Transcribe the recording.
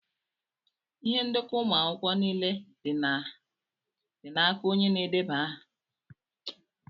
Ihe ndekọ ụmụ akwụkwọ niile dị naka onye na-edeba aha.